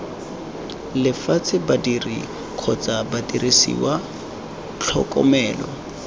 lefatshe badiri kgotsa didiriswa tlhokomelo